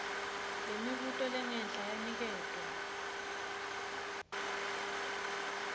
lemibuto lengenhla yaniketwa